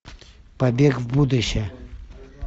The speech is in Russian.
побег в будущее